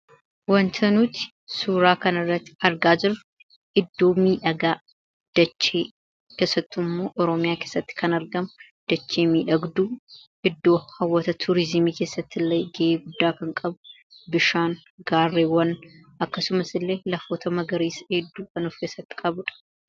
waanta nuti suuraa kan irrai argaa jiru iddoo miidhagaa dachee keessattuu immoo oroomiyaa keessatti kan argama dachee miidhagduu iddoo hawwata tuuriizimii keessatti ille g'ee guddaa kan qabu bishaan gaarreewwan akkasumas illee lafoota magariisa diidduu kanuuf keessatti qabuudha.